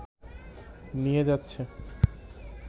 নিয়ে যাচ্ছে